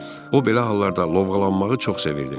O belə hallarda lovğalanmağı çox sevirdi.